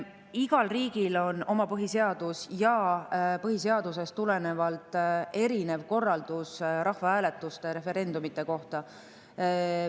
Igal riigil on oma põhiseadus ja põhiseadusest tulenevalt erinev rahvahääletuste, referendumite korraldus.